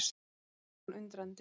Hún horfir á hann undrandi.